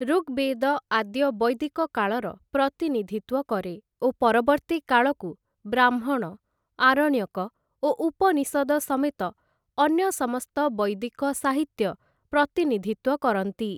ଋଗ୍‌ବେଦ ଆଦ୍ୟ ବୈଦିକକାଳର ପ୍ରତିନିଧିତ୍ଵ କରେ ଓ ପରବର୍ତ୍ତୀ କାଳକୁ ବ୍ରାହ୍ମଣ ଆରଣ୍ୟକ ଓ ଉପନିଷଦ ସମେତ ଅନ୍ୟ ସମସ୍ତ ବୈଦିକ ସାହିତ୍ୟ ପ୍ରତିନିଧିତ୍ଵ କରନ୍ତି ।